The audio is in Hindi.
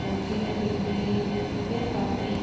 पौधे लगे हुए हैं। ये काफी --